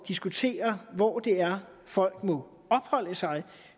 diskutere hvor det er folk må opholde sig